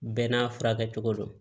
Bɛɛ n'a furakɛcogo don